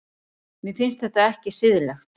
Mér finnst þetta ekki siðlegt.